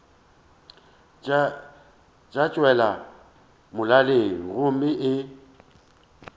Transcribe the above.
tša tšwela molaleng gomme o